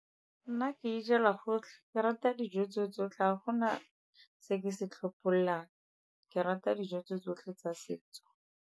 Nna ke ijela gotlhe. Ke rata dijo tse tsotlhe, ga gona se ke se tlhophololang. Ke rata dijo tse tsotlhe tsa setso.